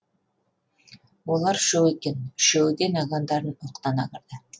олар үшеу екен үшеуі де нагандарын оқтана кірді